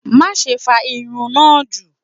Maṣe fa irun naa ju!